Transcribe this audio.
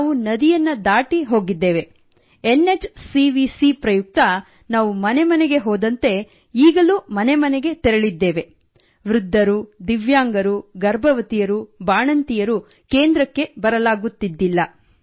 ನಾವು ನದಿಯನ್ನು ದಾಟಿ ಹೋಗಿದ್ದೇವೆ N H C V C ಪ್ರಯುಕ್ತ ನಾವು ಮನೆಮನೆಗೆ ಹೋದಂತೆ ಈಗಲೂ ಮನೆ ಮನೆಗೆ ತೆರಳಿದ್ದೇವೆ ವೃದ್ಧರು ದಿವ್ಯಾಂಗರು ಗರ್ಭವತಿಯರು ಬಾಣಂತಿಯರು ಕೇಂದ್ರಕ್ಕೆ ಬರಲಾಗುತ್ತಿದ್ದಿಲ್ಲ